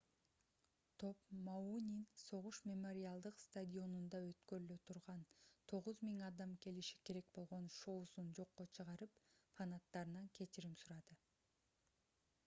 топ мауинин согуш мемориалдык стадионунда өткөрүлө турган 9000 адам келиши керек болгон шоусун жокко чыгарып фанаттарынан кечирим сурады